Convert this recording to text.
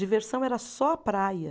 Diversão era só praia.